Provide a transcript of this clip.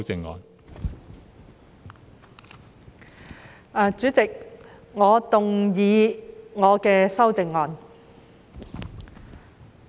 代理主席，我動議我的修正案。